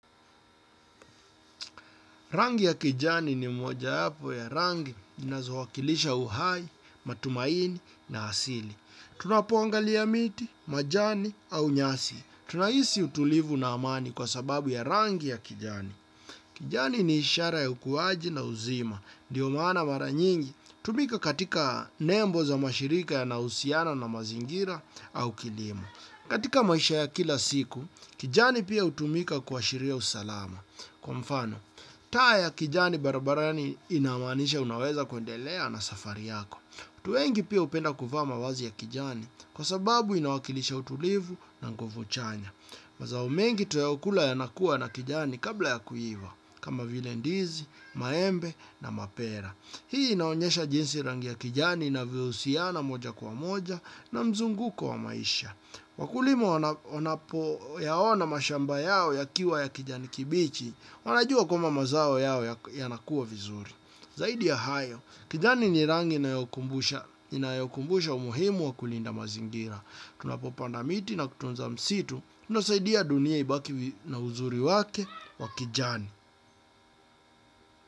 Rangi ya kijani ni mmoja yapo ya rangi zinazo wakilisha uhai, matumaini na asili. Tunapongalia miti, majani au nyasi. Tunahisi utulivu na amani kwa sababu ya rangi ya kijani. Kijani ni ishara ya ukuwaji na uzima. Ndiyo maana mara nyingi. Tumika katika nembo za mashirika yanahusiana na mazingira au kilimo. Katika maisha ya kila siku, kijani pia hutumika kuashiria usalama. Kwa mfano, taa ya kijani barabarani inamaanisha unaweza kundelea na safari yako. Watu wengi pia hupenda kuvaa mavazi ya kijani kwa sababu inawakilisha utulivu na nguvuchanya. Mazao mengi tunayoykula yanakuwa na kijani kabla ya kuiva kama vile ndizi, maembe na mapera. Hii inaonyesha jinsi rangi ya kijani inavyo husiana moja kwa moja na mzunguko wa maisha. Wakulima wanapo yaona mashamba yao yakiwa ya kijani kibichi wanajua kwamba mazao yao ya nakuwa vizuri zaidi ya hayo, kijani nirangi inayokumbusha umuhimu wa kulinda mazingira. Tunapopanda miti na kutunza msitu tunasaidia dunia ibaki na uzuri wake wa kijani.